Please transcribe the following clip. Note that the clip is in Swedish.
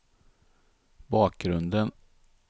bakgrunden